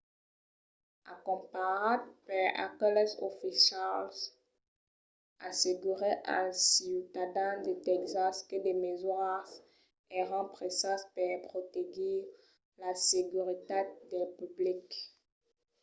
acompanhat per aqueles oficials assegurèt als ciutadans de tèxas que de mesuras èran presas per protegir la seguretat del public